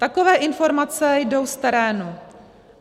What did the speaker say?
Takové informace jdou z terénu.